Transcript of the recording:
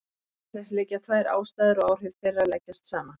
Til þess liggja tvær ástæður og áhrif þeirra leggjast saman.